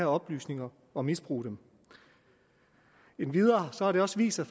oplysninger og misbruge dem endvidere har det også vist sig